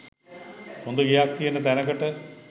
හොඳ ගෙයක් තියෙන තැනකට.